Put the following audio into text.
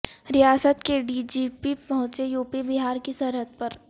ریاست کے D G P پہونچے یوپی بہار کی سرحد پر